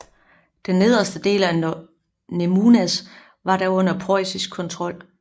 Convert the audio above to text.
Den nederste del af Nemunas var da under preussisk kontrol